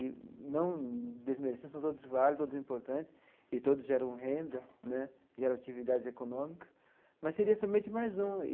e não desmerecer, são todos válidos, todos importantes, e todos geram renda né, geram atividades econômicas, mas seria somente mais um.